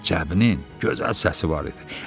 Cəbinin gözəl səsi var idi.